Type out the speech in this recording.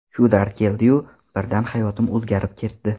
Shu dard keldiyu, birdan hayotim o‘zgarib ketdi.